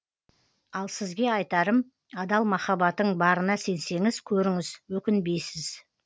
ал сізге айтарым адал махаббатың барына сенсеңіз көріңіз өкінбейсіз